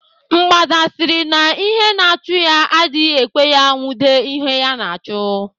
Mgbada sịrị na ihe na-achụ́ ya adịghị ekwe ya enwude ihe ya na-achụ.